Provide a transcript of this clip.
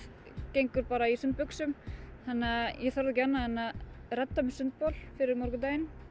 gengur bara í sundbuxum þannig ég þorði ekki annað en að redda sundbol fyrir morgundaginn